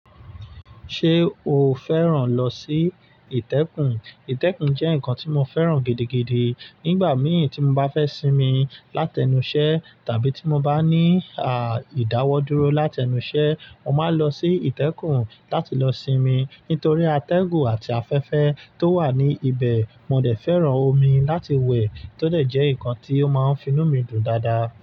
Ṣé o fẹ́ràn lọ sí ìtẹ́kùn? Ìtẹ́kùn jẹ́ nǹkan tí mo fẹ́ràn gidigidi. Nígbà mìíràn tí mo bá fẹ́ sinmi láti ẹnu iṣẹ́ tàbí tí mo bá ní à ìdáwọ́ dúró láti ẹnu iṣẹ́, mo máa ń lọ sí ìtẹ́kùn láti lọ sinmi. Nítorí atẹ́gùn àti afẹ́fẹ́ tó wà ní ibẹ̀, mo dẹ̀ fẹ́ràn omi láti wẹ̀ tó dẹ̀ jẹ́ nǹkan tí ó máa ń finú mi dùn dáadáa.